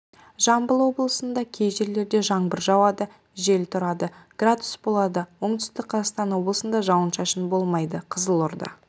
жамбыл облысында кей жерлерде жаңбыр жауады жел тұрады градус болады оңтүстік қазақстан облысында жауын-шашын болмайды қызылорда